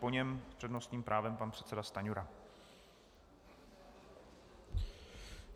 Po něm s přednostním právem pan předseda Stanjura.